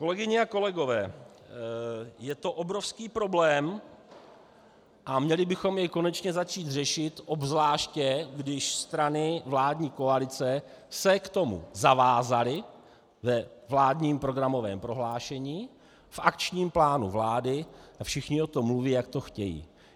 Kolegyně a kolegové, je to obrovský problém a měli bychom jej konečně začít řešit, obzvláště když strany vládní koalice se k tomu zavázaly ve vládním programovém prohlášení, v akčním plánu vlády a všichni o tom mluví, jak to chtějí.